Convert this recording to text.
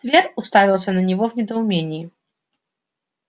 твер уставился на него в недоумении